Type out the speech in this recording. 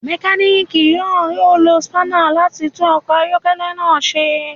Mekaniki yoo lo spanner lati tun ọkọ ayọkẹlẹ naa ṣe